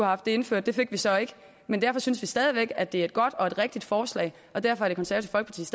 haft det indført det fik vi så ikke men derfor synes vi stadig væk at det er et godt og et rigtigt forslag og derfor